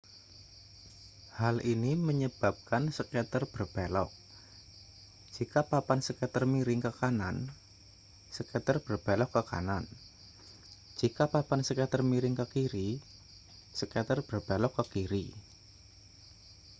hal ini menyebabkan skater berbelok jika papan skater miring ke kanan skater berbelok ke kanan jika papan skater miring ke kiri skater belok kiri